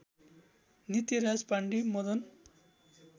Nityaraj Pandey Madan